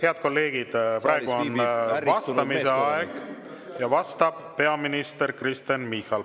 Head kolleegid, praegu on vastamise aeg ja vastab peaminister Kristen Michal.